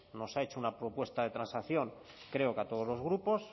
nos ha hecho una propuesta de transacción creo a todos los grupos